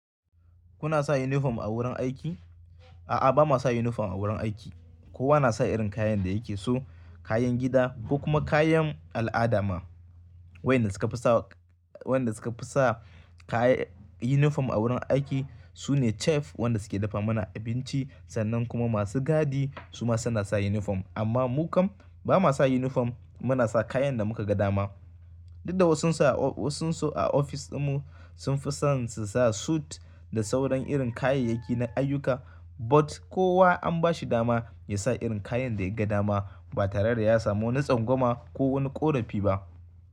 Kuna sa yunifom a wurin aiki? A'a, ba ma sa uniform a wurin aiki, Kowa na sa irin kayan da yake so, kayan gida ko kuma kayan al'ada ma. Wayanda suka fi sa, wayanda suka fi sa kaya uniform a wurin aiki su ne chef, wanda suke dafa mana abinci sannan kuma masu gadi su ma suna sa uniform. Amma mu kam ba ma sa uniform, muna sa kayan da muka ga dama. Dudda wa sun su wasun su a ofis ɗinmu sun fi son su sa suit da sauran irin kayayyaki na ayyuka, but kowa an ba shi dama ya sa irin kayan da ya ga dama ba tare da ya samu wani tsangwama ko wani ƙorafi ba.